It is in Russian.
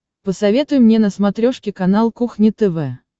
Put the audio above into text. посоветуй мне на смотрешке канал кухня тв